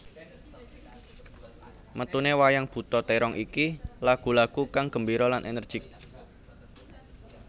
Metuné wayang buta térong iki lagu lagu kang gembira lan ènèrjik